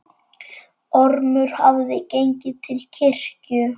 Ormur hafði gengið til kirkju.